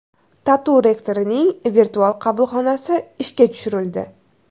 TATU rektorining virtual qabulxonasi ishga tushirildi.